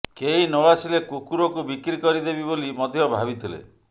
କେହି ନ ଆସିଲେ କୁକୁରକୁ ବିକ୍ରି କରିଦେବି ବୋଲି ମଧ୍ୟ ଭାବିଥିଲେ